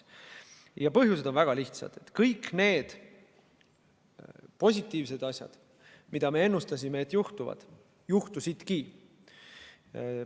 Ja põhjused on väga lihtsad: kõik need positiivsed asjad, mida me ennustasime, et juhtuvad, juhtusidki.